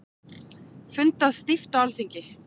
Fundað stíft á Alþingi